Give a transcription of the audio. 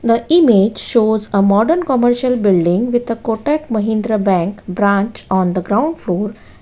The image shows a modern commercial building with a kotak mahindra bank branch on the ground floor.